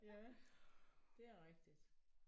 Ja det er rigtigt